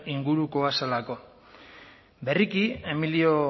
ingurukoa zelako berriki emilio